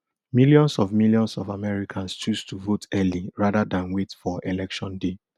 millions of millions of americans choose to vote early rather dan wait for election day